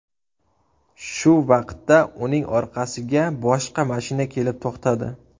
Shu vaqtda uning orqasiga boshqa mashina kelib to‘xtadi.